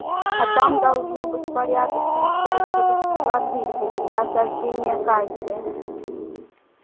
а там должно быть порядочно щавелевой кислоты для осаждения кальция